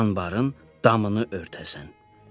Anbarın damını örtəsən.